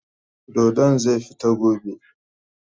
Dodon zai fita gobe.